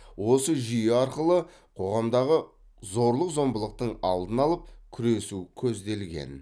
осы жүйе арқылы қоғамдағы зорлық зомбылықтың алдын алып күресу көзделген